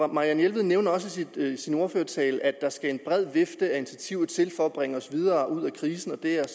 marianne jelved nævner også i sin ordførertale at der skal en bred vifte af initiativer til for at bringe os videre ud af krisen og det er